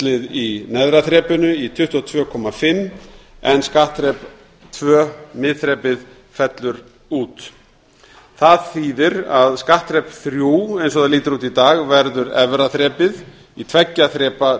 skatthlutfallið í neðra þrepinu í tvö hundruð tuttugu og fimm prósent en skattþrep tvö miðþrepið fellur út það þýðir að skattþrep þrjú eins og það lítur út í dag verður efra þrepið í tveggja þrepa